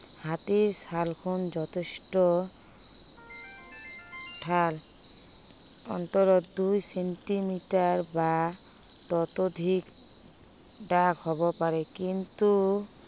হাতীৰ ছালখন যথেষ্ট ডাঠ। অন্ততঃ দুই চেন্টিমিটাৰ বা ততোধিক ডাঠ হব পাৰে। কিন্তু